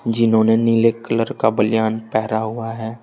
जिन्होंने नीले कलर का बनियान पहेरा हुआ है।